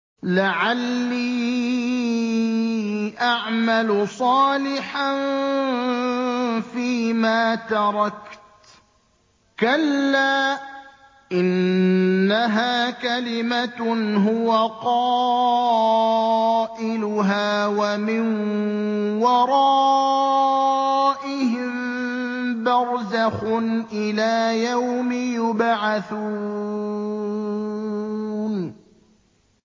لَعَلِّي أَعْمَلُ صَالِحًا فِيمَا تَرَكْتُ ۚ كَلَّا ۚ إِنَّهَا كَلِمَةٌ هُوَ قَائِلُهَا ۖ وَمِن وَرَائِهِم بَرْزَخٌ إِلَىٰ يَوْمِ يُبْعَثُونَ